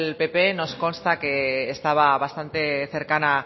pp nos consta que estaba bastante cercana